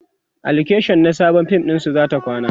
a location na Sabon fim ɗinsu zata kwana